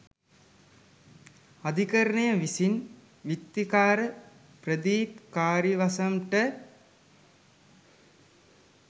අධිකරණය විසින් විත්තිකාර ප්‍රදීප් කාරියවසම් ට